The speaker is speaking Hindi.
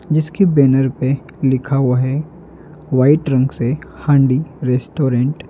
जिसके बैनर पे लिखा हुआ है वाइट रंग से हांडी रेस्टोरेंट ।